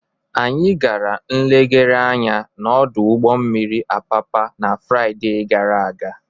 Anyị gara nlegharị anya n'ọdụ ụgbọ mmiri Apapa na Fraịde gara aga.